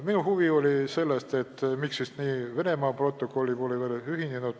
Minu huvi oli see, et miks siis Venemaa pole veel protokolliga ühinenud.